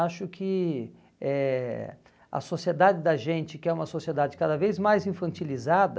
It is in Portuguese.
Acho que eh a sociedade da gente, que é uma sociedade cada vez mais infantilizada,